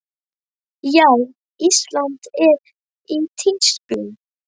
Já, Ísland er í tísku.